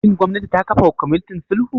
Shin gwamnati ta kafa kwamitin sulhu?